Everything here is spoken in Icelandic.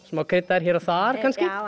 smá kryddaðar hér og þar